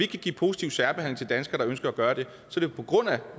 kan give positiv særbehandling til danskere der ønsker at gøre det